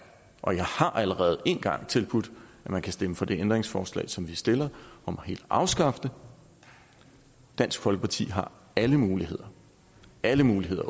og jeg har allerede en gang tilbudt at man kan stemme for det ændringsforslag som vi stiller om helt at afskaffe det dansk folkeparti har alle muligheder alle muligheder